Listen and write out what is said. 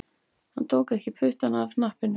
Hann tók ekki puttann af hnappinum